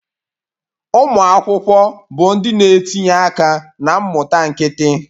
Ụmụ akwụkwọ bụ ndị na-etinye aka na mmụta nkịtị